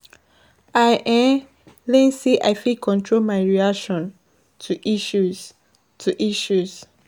I discover say e good to dey appreciate little things.